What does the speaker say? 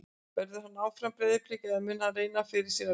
Verður hann áfram í Breiðabliki eða mun hann reyna fyrir sér erlendis?